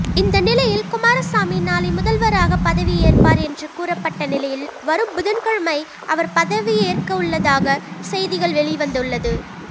இந்த நிலையில் குமாரசாமி நாளை முதல்வராக பதவியேற்பார் என்று கூறப்பட்ட நிலையில் வரும் புதன்கிழமை அவர் பதவியேற்கவுள்ளதாக செய்திகள் வெளிவந்துள்ளது